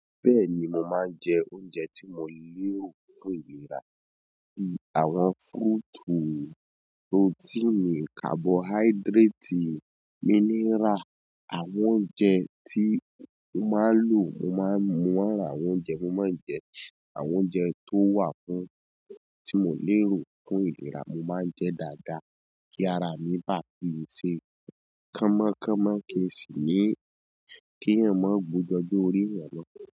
Bẹ́ẹ̀ni, mo máa ń jẹ oúnjẹ tí mo lè rò fún ìlera. Bíi àwọn fúítù, protíìnì, kabọ́háídírátì, mínírà. Àwọn oúnjẹ tí mo máa ń lò, mo máa ń mọ̀ ara àwọn oúnjẹ mo máa ń jẹ. Àwọn oúnjẹ tó wà fún tí mo lè rò fún ìlera, mo máa ń jẹ dáadáa kí ara mi ba fi ṣe kámọ́ kámọ́, kí èsì mí, kí ẹ́yan ma gbójú ojú orí ẹ́mọ́